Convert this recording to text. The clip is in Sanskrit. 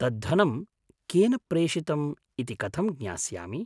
तद्धनं केन प्रेषितम् इति कथं ज्ञास्यामि?